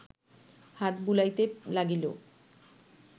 হাত বুলাইতে লাগিল